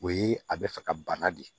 O ye a bɛ fɛ ka bana de